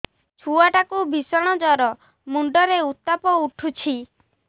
ଛୁଆ ଟା କୁ ଭିଷଣ ଜର ମୁଣ୍ଡ ରେ ଉତ୍ତାପ ଉଠୁଛି